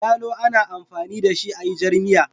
Yalo ana amfani da shi ayi jarmiya